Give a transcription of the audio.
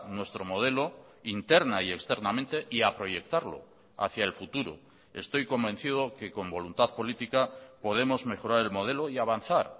nuestro modelo interna y externamente y a proyectarlo hacia el futuro estoy convencido que con voluntad política podemos mejorar el modelo y avanzar